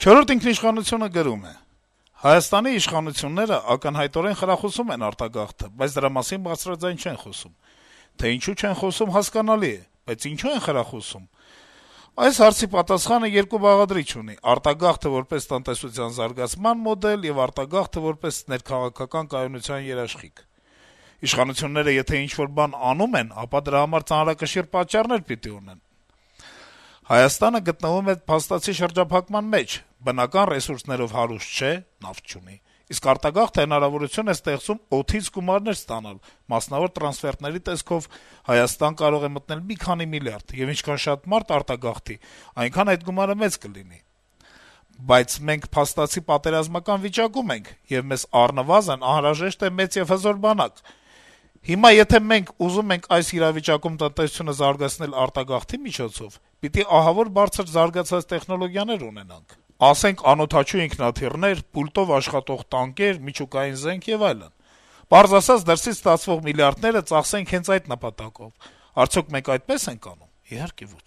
«Չորրորդ ինքնիշխանություն»-ը գրում է. - «Հայաստանի իշխանությունները ակնհայտորեն խրախուսում են արտագաղթը, բայց դրա մասին բարձրաձայն չեն խոսում: Թե ինչու չեն խոսում` հասկանալի է, բայց ինչո՞ւ են խրախուսում: Այս հարցի պատասխանը երկու բաղադրիչ ունի. արտագաղթը` որպես տնտեսության զարգացման մոդել, եւ արտագաղթը` որպես ներքաղաքական կայունության երաշխիք: Իշխանությունները եթե ինչ-որ բան անում են, դրա համար ծանրակշիռ պատճառներ պիտի ունենան: Հայաստանը գտնվում է փաստացի շրջափակման մեջ, բնական ռեսուրսներով հարուստ չէ (նավթ չունի), իսկ արտագաղթը հնարավորություն է ստեղծում «օդից» գումարներ ստանալ (մասնավոր տրանսֆերտների տեսքով Հայաստան կարող է մտնել մի քանի միլիարդ, եւ ինչքան շատ մարդ արտագաղթի, այնքան այդ գումարը մեծ կլինի): Բայց մենք փաստացի պատերազմական վիճակում ենք, եւ մեզ առնվազն անհրաժեշտ է մեծ եւ հզոր բանակ: Հիմա եթե մենք ուզում ենք այս իրավիճակում տնտեսությունը զարգացնել արտագաղթի միջոցով, պիտի ահավոր բարձր զարգացած տեխնոլոգիաներ ունենանք (ասենք` անօդաչու ինքնաթիռներ, «պուլտով» աշխատող տանկեր, միջուկային զենք եւ այլն): Պարզ ասած` դրսից ստացվող միլիարդները ծախսենք հենց այդ նպատակով: Արդյո՞ք մենք այդպես ենք անում: Իհարկե ոչ»: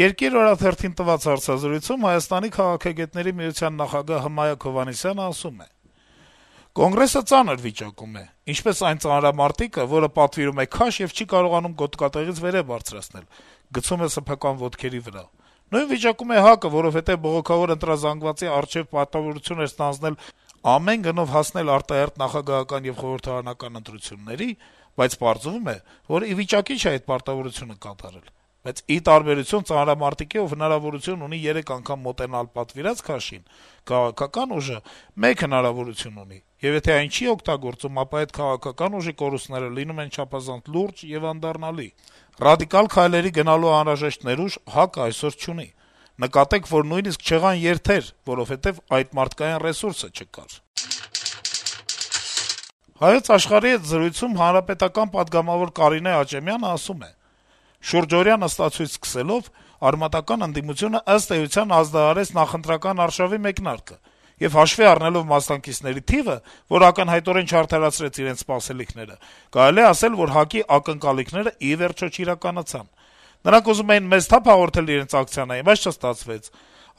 «Երկիր» օրաթերթին տված հարցազրույցում Հայաստանի քաղաքագետների միության նախագահ Հմայակ Հովհաննիսյանը ասում է. - «Կոնգրեսը ծանր վիճակում է` ինչպես այն ծանրամարտիկը, որը պատվիրում է քաշ եւ չի կարողանում գոտկատեղից վերեւ բարձրացնել` գցում է սեփական ոտքերի վրա: Նույն վիճակում է ՀԱԿ-ը, որովհետեւ բողոքավոր ընտրազանգվածի առջեւ պարտավորություն էր ստանձնել ամեն գնով հասնել արտահերթ նախագահական եւ խորհրդարանական ընտրությունների, բայց պարզվում է, որ ի վիճակի չէ այդ պարտավորությունը կատարել: Բայց, ի տարբերություն ծանրամարտիկի, ով հնարավորություն ունի երեք անգամ մոտենալ պատվիրած քաշին, քաղաքական ուժը մեկ հնարավորություն ունի եւ եթե այն չի օգտագործում, ապա այդ քաղաքական ուժի կորուստները լինում են չափազանց լուրջ եւ անդառնալի: Ռադիկալ քայլերի գնալու անհրաժեշտ ներուժ ՀԱԿ-ը այսօր չունի: Նկատեք, որ նույնիսկ չեղան երթեր, որովհետեւ այդ մարդկային ռեսուրսը չկար»: «Հայոց Աշխարհ»-ի հետ զրույցում պատգամավոր Կարինե Աճեմյանը (ՀՀԿ) ասում է. - «Շուրջօրյա նստացույց սկսելով՝ արմատական ընդդիմությունը, ըստ էության, ազդարարեց նախընտրական արշավի մեկնարկը, եւ, հաշվի առնելով մասնակիցների թիվը, որ ակնհայտորեն չարդարացրեց իրենց սպասելիքները, կարելի է ասել, որ ՀԱԿ-ի ակնկալիքները ի վերջո չիրականացան։ Նրանք ուզում էին մեծ թափ հաղորդել իրենց ակցիաներին, բայց չստացվեց։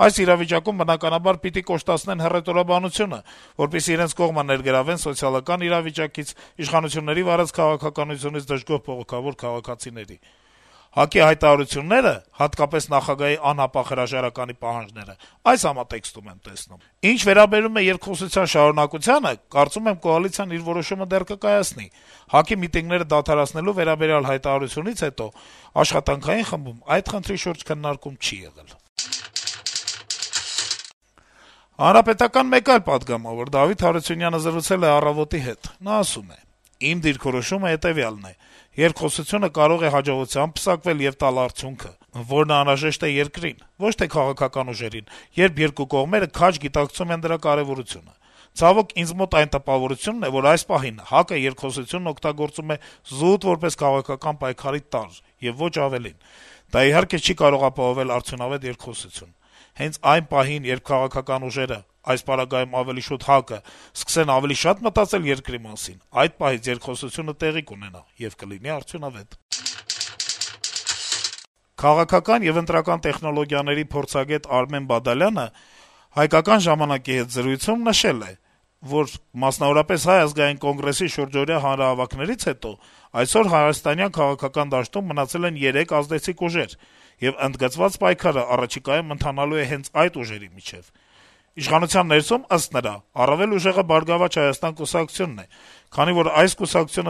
Այս իրավիճակում, բնականաբար, պիտի կոշտացնեն հռետորաբանությունը, որպեսզի իրենց կողմը ներգրավեն սոցիալական իրավիճակից, իշխանությունների վարած քաղաքականությունից դժգոհ բողոքավոր քաղաքացիներին։ ՀԱԿ-ի հայտարարությունները, հատկապես նախագահի անհապաղ հրաժարականի պահանջները այս համատեքստում եմ տեսնում։ Ինչ վերաբերում է երկխոսության շարունակությանը, կարծում եմ, կոալիցիան իր որոշումը դեռ կկայացնի. ՀԱԿ-ի միտինգները դադարեցնելու վերաբերյալ հայտարարությունից հետո աշխատանքային խմբում այդ խնդրի շուրջ քննարկում չի եղել»։ Հանրապետական մեկ այլ պատգամավոր` Դավիթ Հարությունյանը, զրուցել է «Առավոտ»-ի հետ. - «Իմ դիրքորոշումը հետեւյալն է. երկխոսությունը կարող է հաջողությամբ պսակվել եւ տալ արդյունքը, որն անհրաժեշտ է երկրին, ոչ թե քաղաքական ուժերին, երբ երկու կողմերը քաջ գիտակցում են դրա կարեւորությունը: Ցավոք, ինձ մոտ այն տպավորությունն է, որ այս պահին ՀԱԿ-ը երկխոսությունն օգտագործում է զուտ որպես քաղաքական պայքարի տարր եւ ոչ ավելին: Դա, իհարկե, չի կարող ապահովել արդյունավետ երկխոսություն: Հենց այն պահին, երբ քաղաքական ուժերը, այս պարագայում` ավելի շատ ՀԱԿ-ը, սկսեն ավելի շատ մտածել երկրի մասին, այդ պահից երկխոսությունը տեղի կունենա եւ կլինի արդյունավետ»: Քաղաքական եւ ընտրական տեխնոլոգիաների փորձագետ Արմեն Բադալյանը «Հայկական ժամանակ»-ի հետ զրույցում նշել է, որ, մասնավորապես, Հայ ազգային կոնգրեսի շուրջօրյա հանրահավաքներից հետո այսօր հայաստանյան քաղաքական դաշտում մնացել են երեք ազդեցիկ ուժեր, եւ ընդգծված պայքարը առաջիկայում ընթանալու է հենց այդ ուժերի միջեւ: Իշխանության ներսում, ըստ նրա, առավել ուժեղը «Բարգավաճ Հայաստան» կուսակցությունն է, քանի որ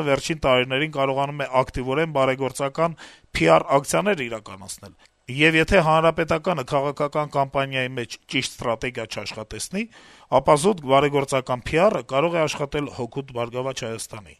վերջին տարիներին կարողանում է ակտիվորեն բարեգործական PR ակցիաներ իրականացնել. - «Եվ եթե Հանրապետականը քաղաքական կամպանիայի մեջ ճիշտ ստրատեգիա չաշխատեցնի, ապա զուտ բարեգործական PR-ը կարող է աշխատել հօգուտ «Բարգավաճ Հայաստան»-ի»: